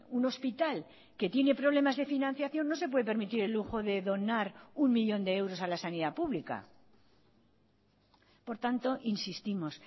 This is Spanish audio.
un hospital que tiene problemas de financiación no se puede permitir el lujo de donar uno millón de euros a la sanidad pública por tanto insistimos